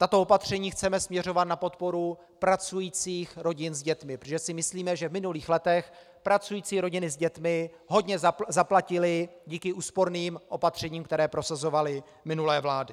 Tato opatření chceme směřovat na podporu pracujících rodin s dětmi, protože si myslíme, že v minulých letech pracující rodiny s dětmi hodně zaplatily kvůli úsporným opatřením, která prosazovaly minulé vlády.